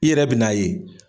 I yɛrɛ bɛ na ye